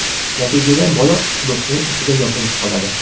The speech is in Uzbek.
Natijada bola quduqning ichida yopilib qoladi.